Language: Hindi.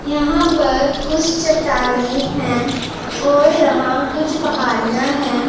यहां पर कुछ चट्टानें हैं और यहां कुछ पहाड़ियां है।